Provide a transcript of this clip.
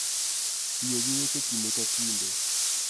Tiyo gi weche kinde ka kinde